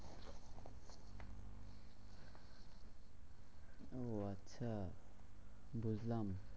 হ্যাঁ বুঝলাম।